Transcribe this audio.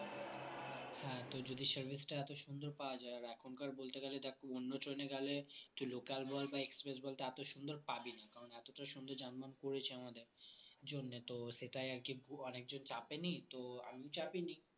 হ্যাঁ যদি service টা এত সুন্দর পাওয়া যায় আর এখনকার বলতে গেলে দেখ অন্য train এ গেলে তুই local বল বা express বল এত সুন্দর পাবি না কারণ এতটা সুন্দর . করেছে আমাদের জন্য তো সেটাই আরকি অনেকজন চাপেনি তো আমি চাপিনি